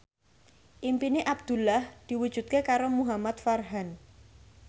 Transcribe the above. impine Abdullah diwujudke karo Muhamad Farhan